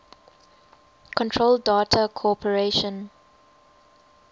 control data corporation